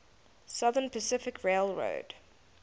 southern pacific railroad